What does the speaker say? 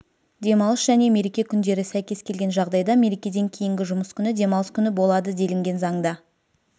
демалыс және мереке күндері сәйкес келген жағдайда мерекеден кейінгі жұмыс күні демалыс күні болады делінген заңда